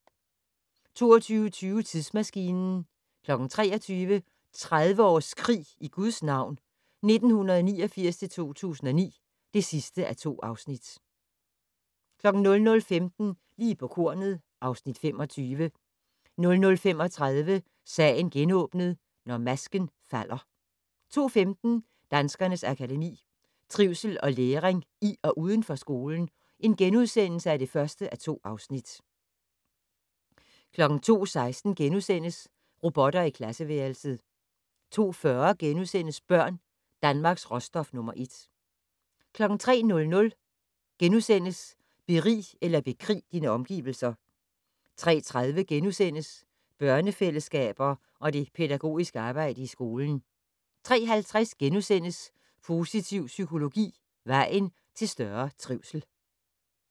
22:20: Tidsmaskinen 23:00: 30 års krig i Guds navn 1989-2009 (2:2) 00:15: Lige på kornet (Afs. 25) 00:35: Sagen genåbnet: Når masken falder 02:15: Danskernes Akademi: Trivsel og læring i og uden for skolen (1:2)* 02:16: Robotter i klasseværelset * 02:40: Børn - Danmarks råstof nr. 1 * 03:00: Berig eller bekrig dine omgivelser * 03:30: Børnefællesskaber og det pædagogiske arbejde i skolen * 03:50: Positiv psykologi - vejen til større trivsel *